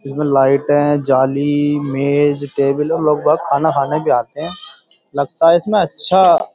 इसमें लाइटें जाली मेज टेबल और लोग बाग़ खाना खाने भी आते है लगता है इसमें अच्छा --